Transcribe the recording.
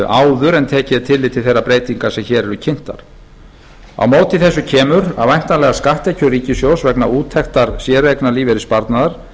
áður en tekið er tillit til þeirrar breytinga sem hér eru kynntar á móti kemur að væntanlegar skatttekjur ríkissjóðs vegna úttektar séreignarlífeyrissparnaðar